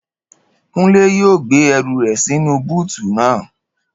Kúnlé yóò gbé ẹrù rẹ̀ sínú búùtù naa